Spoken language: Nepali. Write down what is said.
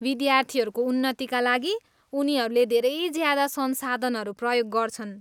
विद्यार्थीहरूको उन्नतिका लागि उनीहरूले धेरै ज्यादा संसाधनहरू प्रदान गर्छन्।